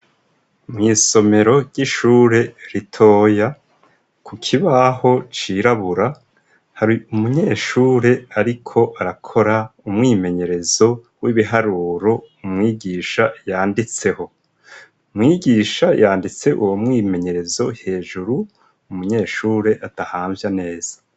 Mw' isomero ry'ishure ritoya, ku kibaho cirabura hari umunyeshure ariko arakora umwimenyerezo w'ibiharuro umwigisha yanditseho. Umwigisha yanditse uwo mwimenyerezo hejuru, umunyeshure adahamvya neza.